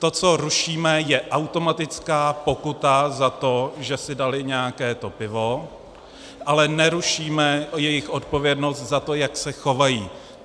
To, co rušíme, je automatická pokuta za to, že si dali nějaké to pivo, ale nerušíme jejich odpovědnost za to, jak se chovají.